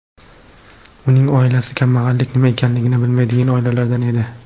Uning oilasi kambag‘allik nima ekanligini bilmaydigan oilalardan edi.